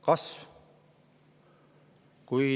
Kasv!